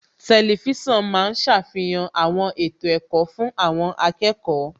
Tẹlifísàn ma ń ṣàfihàn àwọn ètò ẹ̀kọ́ fún àwọn akẹ́kọ̀ọ́